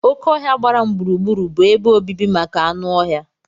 Oké ọhia gbara m gburugburu bụ ebe obibi maka anụ ọhịa.